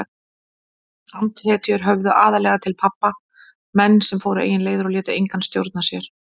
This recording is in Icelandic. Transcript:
Andhetjur höfðuðu aðallega til pabba, menn sem fóru eigin leiðir og létu engan stjórna sér.